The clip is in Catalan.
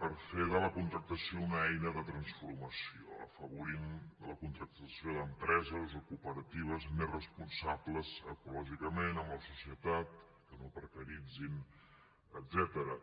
per fer de la contractació una eina de transformació en afavorir la contractació d’empreses o cooperatives més responsables ecològicament amb la societat que no precaritzin etcètera